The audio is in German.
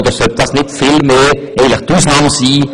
Sollte dies nicht vielmehr die Ausnahme sein?